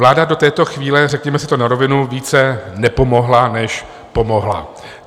Vláda do této chvíle, řekněme si to na rovinu, více nepomohla než pomohla.